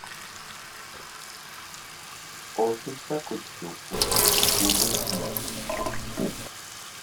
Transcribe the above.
osechako chopo kuonde mamoko